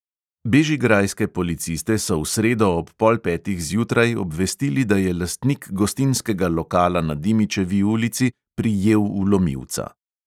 Bežigrajske policiste so v sredo ob pol petih zjutraj obvestili, da je lastnik gostinskega lokala na dimičevi ulici prijel vlomilca.